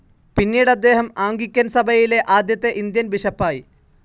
പിന്നീടദ്ദേഹം Anglican സഭയിലെ ആദ്യത്തെ Indian ബിഷപ്പായി.